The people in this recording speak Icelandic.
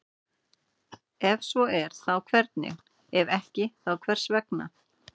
Ef svo er þá hvernig, ef ekki þá hvers vegna?